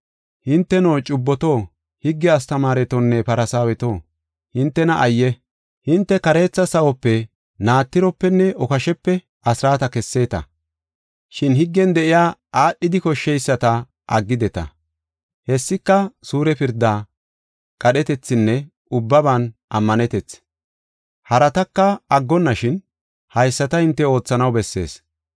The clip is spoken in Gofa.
“Hinteno, cubboto, higge astamaaretonne Farsaaweto, hintena ayye! Hinte kareetha sawope, naatiropenne okashepe asraata kesseeta. Shin higgen de7iya aadhidi koshsheyisata aggideta. Hessika, suure pirda, qadhetethinne ubbaban ammanetethi. Harataka aggonashin haysata hinte oothanaw bessees.